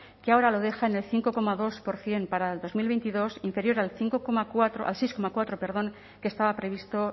que ahora lo deja en el cinco coma dos por ciento para el dos mil veintidós inferior al cinco coma cuatro al seis coma cuatro perdón que estaba previsto